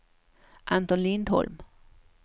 Anton Lindholm